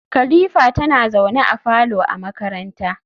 kalifa tana zaune a falo a makaranta